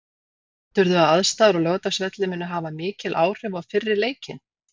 Heldurðu að aðstæður á Laugardalsvelli muni hafa mikil áhrif á fyrri leikinn?